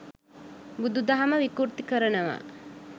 බුදු දහම විකෘති කරනවා